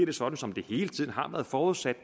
det sådan som det hele tiden har været forudsat